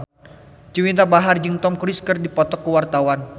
Juwita Bahar jeung Tom Cruise keur dipoto ku wartawan